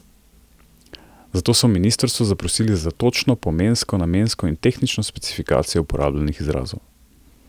Zato so ministrstvo zaprosili za točno pomensko, namensko in tehnično specifikacijo uporabljenih izrazov.